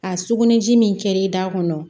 A sugunɛ ji min kɛr'i da kɔnɔ